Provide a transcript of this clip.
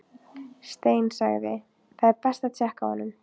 Stein sagði: Það er best að tékka á honum